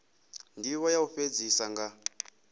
ndivho ya u fhedzisa nga